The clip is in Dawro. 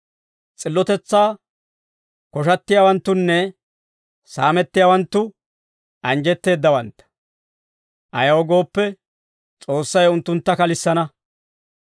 S'illotetsaa koshattiyaawanttunne saamettiyaawanttu, anjjetteeddawantta; ayaw gooppe, S'oossay unttuntta kalissana.